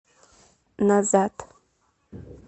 назад